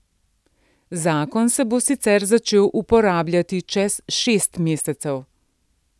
Zakon se bo sicer začel uporabljati čez šest mesecev.